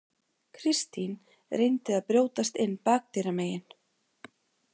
Kristín reyndi að brjótast inn bakdyramegin.